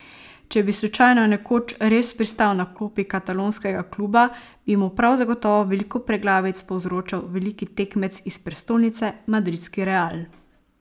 Če bi slučajno nekoč res pristal na klopi katalonskega kluba, bi mu prav zagotovo veliko preglavic povzročal veliki tekmec iz prestolnice, madridski Real.